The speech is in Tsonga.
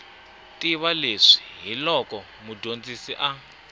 tiva leswi hiloko mudyondzi a